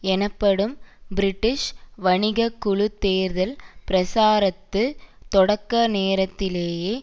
எனப்படும் பிரிட்டிஷ் வணிக குழு தேர்தல் பிரச்சார தொடக்க நேரத்திலேயே